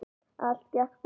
Allt gekk bara upp.